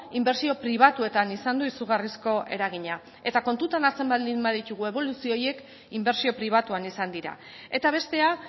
inbertsio pribatuetan izan du izugarrizko eragina eta kontutan hartzen baldin baditugu eboluzio horiek inbertsio pribatuan izan dira eta bestea